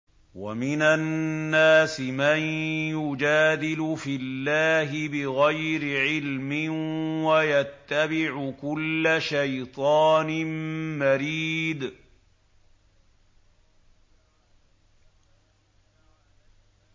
وَمِنَ النَّاسِ مَن يُجَادِلُ فِي اللَّهِ بِغَيْرِ عِلْمٍ وَيَتَّبِعُ كُلَّ شَيْطَانٍ مَّرِيدٍ